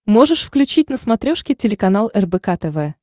можешь включить на смотрешке телеканал рбк тв